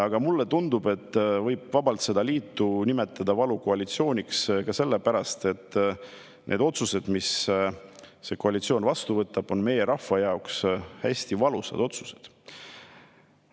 Aga mulle tundub, et vabalt võib seda liitu nimetada valukoalitsiooniks ka sellepärast, et need otsused, mis see koalitsioon vastu võtab, on meie rahva jaoks hästi valusad otsused.